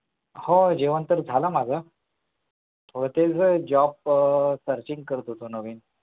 हो जेवण तर झालं माझं. हो तेच Job Searching करत होतो नवीन